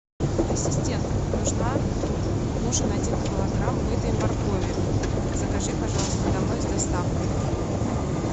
ассистент нужна нужен один килограмм мытой моркови закажи пожалуйста домой с доставкой